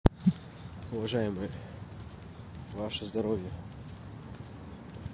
уважаемые ваше здоровье